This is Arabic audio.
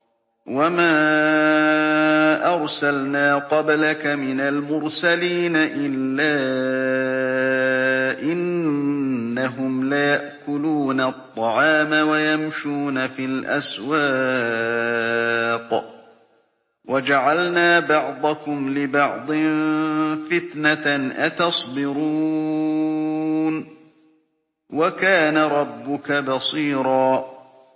وَمَا أَرْسَلْنَا قَبْلَكَ مِنَ الْمُرْسَلِينَ إِلَّا إِنَّهُمْ لَيَأْكُلُونَ الطَّعَامَ وَيَمْشُونَ فِي الْأَسْوَاقِ ۗ وَجَعَلْنَا بَعْضَكُمْ لِبَعْضٍ فِتْنَةً أَتَصْبِرُونَ ۗ وَكَانَ رَبُّكَ بَصِيرًا